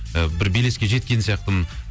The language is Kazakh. ы бір белеске жеткен сияқтымын